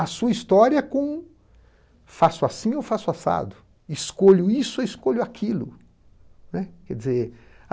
a sua história com faço assim ou faço assado?, escolho isso ou escolho aquilo?, né, quer dizer